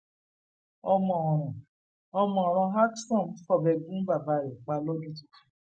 ọmọ ọràn ọmọ ọràn alksom fọbẹ gún bàbá rẹ pa lọdún tuntun